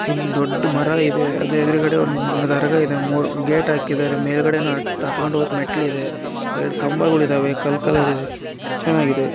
ಇಲ್ಲಿ ದೊಡ್ಡ ಮರ ಇದೆ ಅದರ ಎದ್ರುಗಡೆ ಒಂದು ದರಗ ಇದೆ ಮುರ ಗೆಟ ಹಾಕಿದ್ದಾರೆ ಮೆಲ್ಗಡೆ ಹತ್ತಕೊಂಡ ಹೊಗಕ ಮೆಟ್ಲಿದೆ ಎರಡು ಕಂಬಗಳಿದ್ದಾವೆ ಕಲರ ಕಲರ ಇದೆ ಚೆನ್ನಾಗಿವೆ .